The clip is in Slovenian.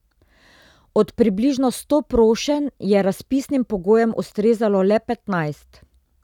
Od približno sto prošenj je razpisnim pogojem ustrezalo le petnajst.